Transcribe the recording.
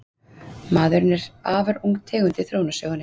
maðurinn er afar ung tegund í þróunarsögunni